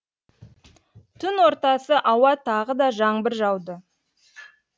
түн ортасы ауа тағы да жаңбыр жауды